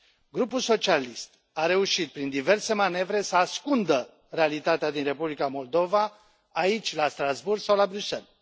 Grupul socialist a reușit prin diverse manevre să ascundă realitatea din Republica Moldova aici, la Strasbourg, sau la Bruxelles.